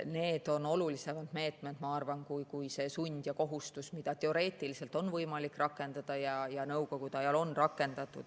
Need on olulisemad meetmed, ma arvan, kui see sund ja kohustus, mida teoreetiliselt on võimalik rakendada ja Nõukogude ajal rakendati.